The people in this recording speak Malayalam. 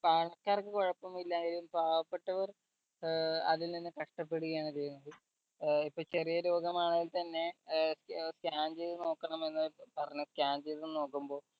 പണക്കാർക്ക് കൊഴപ്പമില്ല പാവപ്പെട്ടവർ ഏർ അതിൽ നിന്ന് കഷ്ടപ്പെടുകയാണ് ചെയ്യുന്നത് ഏർ ഇപ്പൊ ചെറിയ രോഗമാണെങ്കിൽ തന്നെ ഏർ scan ചെയ്ത് നോക്കണമെന്ന് പറഞ്ഞു scan ചെയ്ത് നോക്കുമ്പോ